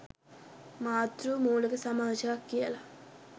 මාතෘ මූලික සමාජයක් කියලා